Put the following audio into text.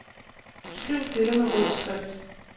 Skriv dette med rød skrift.